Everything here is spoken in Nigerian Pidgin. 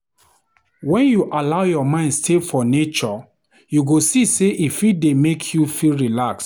Wen you allow your mind stay for nature, you go see sey e fit dey make you feel relax.